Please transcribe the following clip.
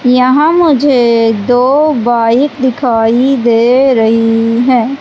यहां मुझे दो बाइक दिखाई दे रही हैं।